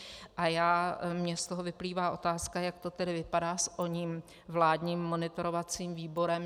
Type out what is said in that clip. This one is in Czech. A mně z toho vyplývá otázka, jak to tedy vypadá s oním vládním monitorovacím výborem.